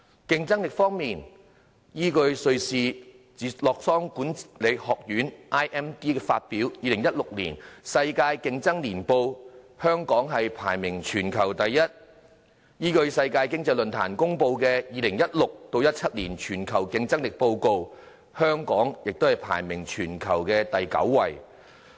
競爭力方面，依據瑞士洛桑國際管理發展學院發表的《2016年世界競爭力年報》，香港排名全球第一；依據世界經濟論壇公布的《2016-2017 年全球競爭力報告》，香港亦排名全球第九位。